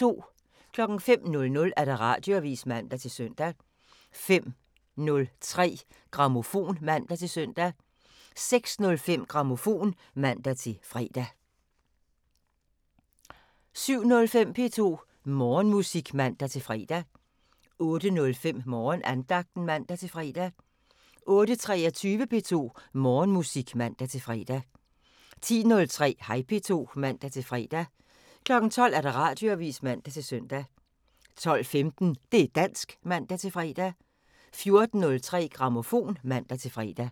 05:00: Radioavisen (man-søn) 05:03: Grammofon (man-søn) 06:05: Grammofon (man-fre) 07:05: P2 Morgenmusik (man-fre) 08:05: Morgenandagten (man-fre) 08:23: P2 Morgenmusik (man-fre) 10:03: Hej P2 (man-fre) 12:00: Radioavisen (man-søn) 12:15: Det' dansk (man-fre) 14:03: Grammofon (man-fre)